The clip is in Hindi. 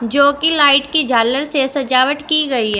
जो की लाइट की झालर से सजावट की गई है।